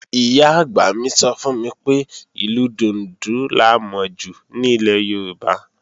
Ìyá-àgbà mi sọ fún mi pé, ìlù dùndún la mọ jù ní ilẹ̀ Yorùbá